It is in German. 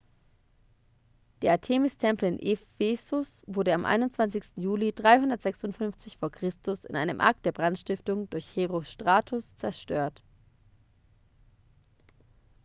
der artemis-tempel in ephesus wurde am 21. juli 356 v. chr. in einem akt der brandstiftung durch herostratus zerstört